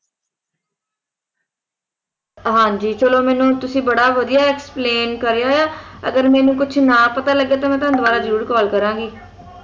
ਹਾਂ ਜੀ ਚਲੋ ਤੁਸੀਂ ਮੈਨੂੰ ਬੜਾ ਵਧੀਆ explain ਕਰਿਆ ਅਗਰ ਮੈਨੂੰ ਕੁਝ ਨਾ ਪਤਾ ਲੱਗਿਆ ਤਾਂ ਮੈਂ ਤੁਹਾਨੂੰ ਦੋਬਾਰਾ ਜਰੂਰ call ਜਰੂਰ ਕਰਾਂਗੀ